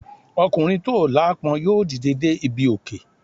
Ọkùnrin tó aláápọn yóò dìde dé ibi òkè.